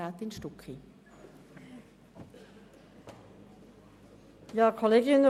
Zuerst hat Grossrätin Stucki für die FiKo-Minderheit das Wort.